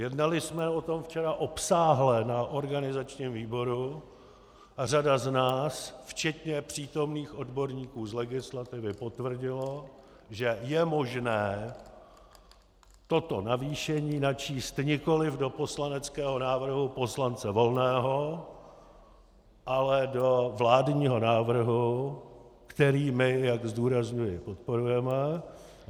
Jednali jsme o tom včera obsáhle na organizačním výboru a řada z nás, včetně přítomných odborníků z legislativy, potvrdila, že je možné toto navýšení načíst nikoli do poslaneckého návrhu poslance Volného, ale do vládního návrhu, který my, jak zdůrazňuji, podporujeme.